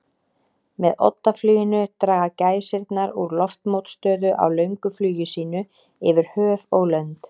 Með oddafluginu draga gæsirnar úr loftmótstöðu á löngu flugi sínu yfir höf og lönd.